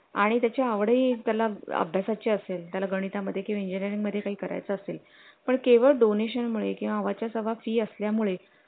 आणि त्या ची आवडी ही त्याला अभ्यासा ची असेल त्याला गणिता मध्ये इंजीनीरिंग मध्ये काही करायचं असेल पण केवळ donation मुळे किंवा च्या सव्वा fees असल्यामुळे